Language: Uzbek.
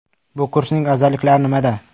Bu kursning afzalliklari nimada?